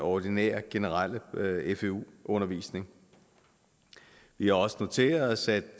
ordinære generelle fvu undervisning vi har også noteret os at